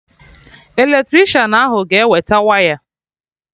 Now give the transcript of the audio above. Eletricịanahụ ga-ewete waya